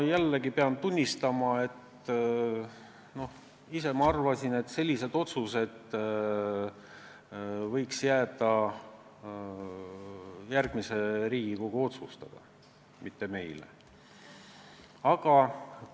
Ma pean tunnistama, et ise ma arvasin, et sellised otsused võiks jääda järgmise Riigikogu, mitte meie otsustada.